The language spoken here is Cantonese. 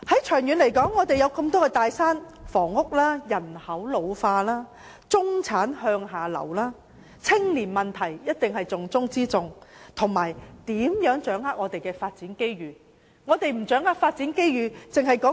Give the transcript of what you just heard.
長遠而言，面對多座大山，例如房屋、人口老化、中產向下流，還有重中之重的青年問題，我們如何掌握發展機遇？